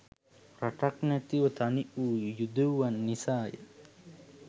රටක් නැතිව තනිවූ යුදෙව්වන් නිසාය